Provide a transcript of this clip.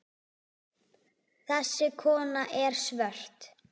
Þessi kona er svört.